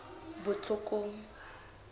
botlhokong